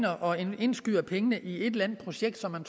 og indskyder pengene i et eller andet projekt som man